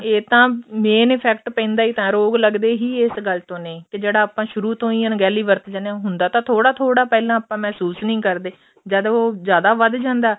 ਇਹ ਤਾਂ main effect ਪੈਂਦਾ ਹੀ ਤਾਂ ਰੋਗ ਲੱਗਦੇ ਹੀ ਇਸ ਗੱਲ ਤੋ ਨੇ ਤੇ ਜਿਹੜਾ ਆਪਾਂ ਸ਼ੁਰੂ ਤੋਂ ਹੀ ਅੱਣਗਿਹਲੀ ਵਰਤੀ ਜਾਂਦੇ ਆਂ ਹੁੰਦਾ ਤਾਂ ਥੋੜਾ ਥੋੜਾ ਪਹਿਲਾਂ ਆਪਾਂ ਮਹਿਸੂਸ ਨੀ ਕਰਦੇ ਜਦ ਉਹ ਜ਼ਿਆਦਾ ਵੱਧ ਜਾਂਦਾ